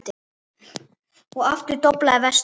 Og aftur doblaði vestur.